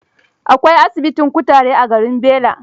Akwai asibitin kutare a garin Bela.